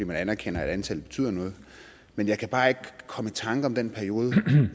man anerkender at antallet betyder noget men jeg kan bare ikke komme i tanker om den periode